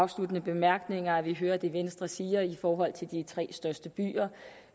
afsluttende bemærkninger at vi hører det venstre siger i forhold til de tre største byer